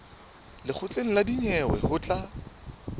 lekgotleng la dinyewe ho tla